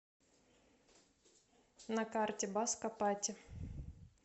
на карте баско пати